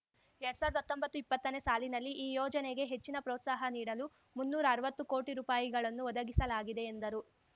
ಎರ್ಡ್ ಸಾವ್ರ್ದಾ ಹತ್ತೊಂಬತ್ತು ಇಪ್ಪತ್ತನೇ ಸಾಲಿನಲ್ಲಿ ಈ ಯೋಜನೆಗೆ ಹೆಚ್ಚಿನ ಪ್ರೋತ್ಸಾಹ ನೀಡಲು ಮುನ್ನೂರ್ರರ್ವತ್ತು ಕೋಟಿ ರೂಪಾಯಿ ಗಳನ್ನು ಒದಗಿಸಲಾಗಿದೆ ಎಂದರು